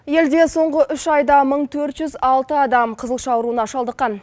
елде соңғы үш айда мың төрт жүз алты адам қызылша ауруына шалдыққан